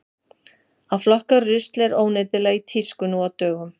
Að flokka rusl er óneitanlega í tísku nú á dögum.